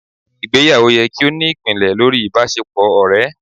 ìgbéyàwó yẹ ki o ni ipinlẹ̀ lorí ìbáṣepọ ọrẹ